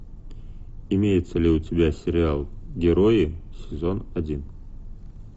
имеется ли у тебя сериал герои сезон один